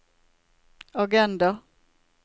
agenda